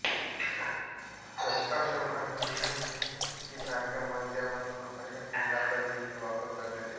रक्ताश्म आणि नीलमणीसारख्या मध्यम अनमोल अशा खड्यांचा देखील वापर करण्यात येतो